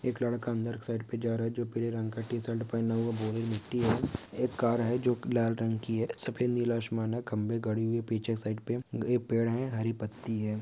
एक लड़का अंदर की साइट पे जा रहा है। जो पीले रंग की टी शर्ट पहिना हुआ। भूरी मिट्टी है। एक कार है जो कि लाल रंग की है। सफेद नीला आसमान है। खंभे गड़े हुए हैं पीछे साइट पे एक पेड़ है हरी पत्ति हैं।